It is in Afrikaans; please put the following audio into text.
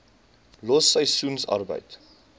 los seisoensarbeid